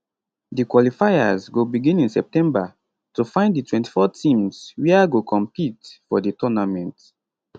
di qualifiers go begin in september to find di 24 teams wia go compete for di tournament